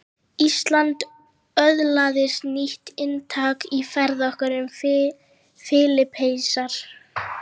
Íslandi öðlaðist nýtt inntak í ferð okkar um Filippseyjar